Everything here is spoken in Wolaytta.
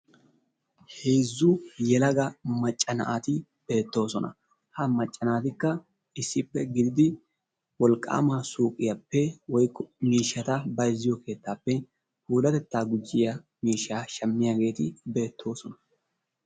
Heezzu yelaga macca naati beettoosona. Ha macca naatikka issippe gididi wolqqaama suyqiyappe woykko miishshata bayzziyo keettaappe puulatettaa gujjiya miishshaa shammiyageeti beettoosona.